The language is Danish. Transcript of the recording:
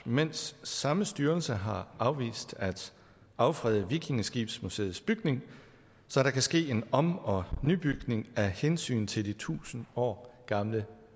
mens samme styrelse har afvist at affrede vikingeskibsmuseets bygning så der kan ske en om og nybygning af hensyn til de tusind år gamle